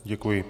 Děkuji.